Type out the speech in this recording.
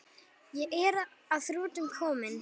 Ég er að þrotum kominn.